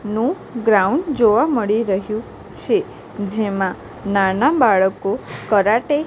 નુ ગ્રાઉન્ડ જોવા મળી રહ્યુ છે જેમા નાના બાળકો કરાટે --